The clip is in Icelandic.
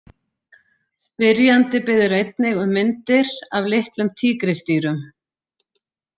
Spyrjandi biður einnig um myndir af litlum tígrisdýrum.